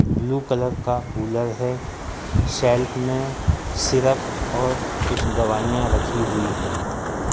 Blue colour का cooler है shelf में सिरप और कुछ दवाईयाँ रखी हुई हैं।